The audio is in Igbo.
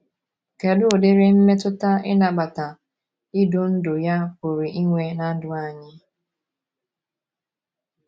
Kedu udiri mmetụta ịnabata idu ndú ya pụrụ inwe ná ndụ anyị?